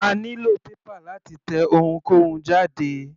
A nílò paper láti tẹ ohunkóhun jáde.